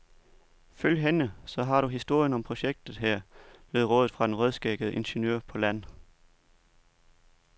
Følg hende, så har du historien om projektet her, lød rådet fra den rødskæggede ingeniør på land.